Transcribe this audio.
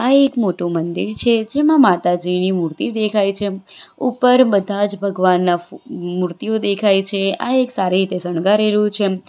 એક મોટું મંદિર છે જેમાં માતાજીની મૂર્તિ દેખાય છે ઉપર બધા જ ભગવાનના મૂર્તિઓ દેખાય છે આ એક સારી રીતે શણગારેલું છે.